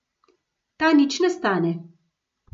Ta nič ne stane.